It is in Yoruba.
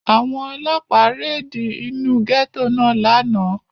Àwọn Ọlọ́pàá réde inú gẹ́tò náà lánàá.